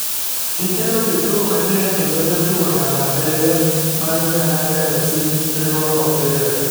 gikelo kit tugo manyien kendo ,jatugo namna abirio mar nyanya fc riwo opira .